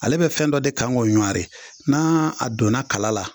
Ale bɛ fɛn dɔ de kan k'o ɲari n'a donna kala la.